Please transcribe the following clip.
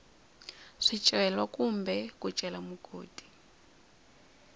swicelwa kumbe ku cela mugodi